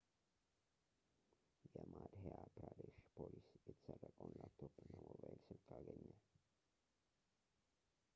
የማድህያ ፕራዴሽ ፖሊስ የተሰረቀውን ላፕቶፕ እና የሞባይል ስልክ አገኘ